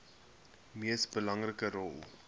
mees belangrike rol